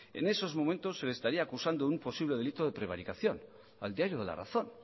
en estos momentos se le estaría acusando de un posible delito de prevaricación al diario de la razón